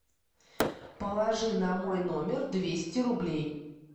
положи на мой номер двести рублей